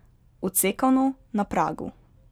Odsekano, na pragu.